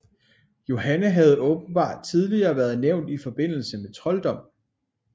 Johanne havde åbenbart tidligere været nævnt i forbindelse med trolddom